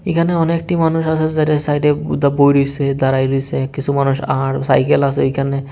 এখানে অনেকটি মানুষ আসে যারা সাইডে দা বোয়ে রয়েছে দাঁড়ায় রয়েসে কিছু মানুষ আহার সাইকেল আসে ওইখানে।